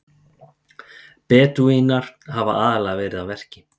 Bedúínar hafa aðallega verið að verki.